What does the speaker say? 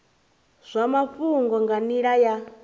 zwa mafhungo nga nila ya